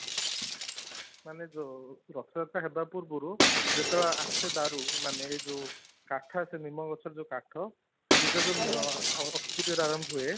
ମାନେ, ଜଉ ରଥଯାତ୍ରା ହେବା ପୂର୍ବରୁ ଯେତେବେଳେ ଆସେ ଦାରୁ ମାନେ ଜଉ କାଠ ଆସେ ନିମ ଗଛ ର ଜଉ କାଠ ପୂଜା ଜଉ ଅକ୍ଷିତୃତୀୟା ରୁ ଆରମ୍ଭ ହୁଏ